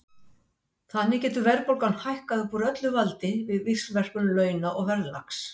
Þannig getur verðbólgan hækkað upp úr öllu valdi við víxlverkun launa og verðlags.